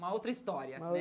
Uma outra história, né?